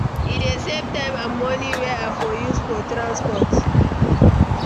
E dey save time and money wey i for use for transport.